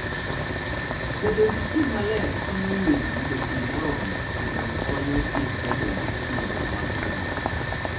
Bedo gi pi maler konyo winy yudo pi moromo kendo konyogi bedo gi kinde mag nyuol.